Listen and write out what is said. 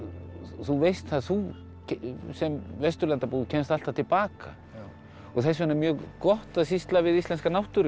þú veist það þú sem kemst alltaf til baka og þess vegna er mjög gott að sýsla við íslenska náttúru